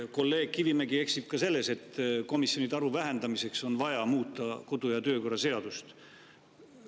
Kolleeg Kivimägi eksib ka selles, et komisjonide arvu vähendamiseks on vaja muuta kodu- ja töökorra seadust.